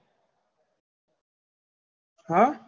આહ